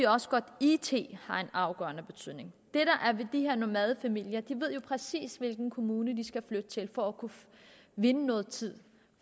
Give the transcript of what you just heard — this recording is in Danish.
også godt at it har en afgørende betydning de her nomadefamilier ved jo præcis hvilken kommune de skal flytte til for at kunne vinde noget tid